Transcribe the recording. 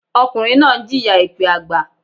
Ọkùnrin náà ń jìyà èpẹ́ àgbà.